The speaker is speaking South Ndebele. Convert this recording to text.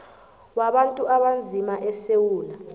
wabantu abanzima esewula